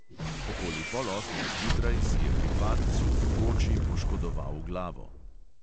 Okoli pol osmih zjutraj si je pri padcu v koči poškodoval glavo.